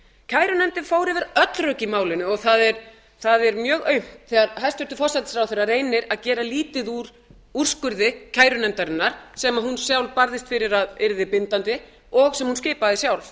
kærunefndin fór yfir öll rök í málinu og það er mjög aumt þegar hæstvirtur forsætisráðherra reynir að gera lítið úr úrskurði kærunefndarinnar sem hún sjálf barðist fyrir að yrði bindandi og sem hún skipaði sjálf